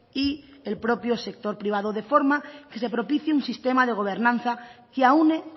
y el propio sector privado de forma que se propicie un sistema de gobernanza que aúne